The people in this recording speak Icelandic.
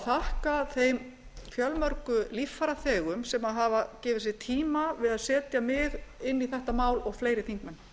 þakka þeim fjölmörgu líffæraþegum sem hafa gefið sér tíma við að setja á inn í þetta mál og fleiri þingmenn